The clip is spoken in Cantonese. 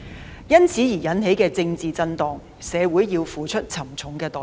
對於由此引起的政治震盪，社會需要付出沉重代價。